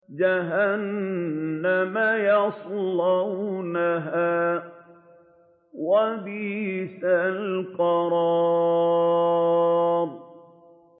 جَهَنَّمَ يَصْلَوْنَهَا ۖ وَبِئْسَ الْقَرَارُ